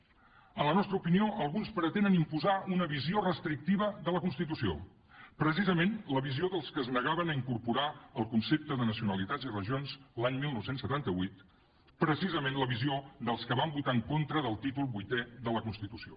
a la nostra opinió alguns pretenen imposar una visió restrictiva de la constitució precisament la visió dels que es negaven a incorporar el concepte de nacionalitats i regions l’any dinou setanta vuit precisament la visió dels que va votar en contra del títol vuitè de la constitució